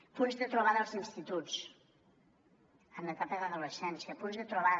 punts de trobada als instituts en l’etapa d’adolescència punts de trobada